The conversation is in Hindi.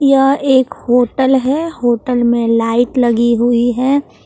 यह एक होटल है होटल में लाइट लगी हुई है।